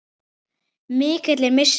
Mikill er missir hans.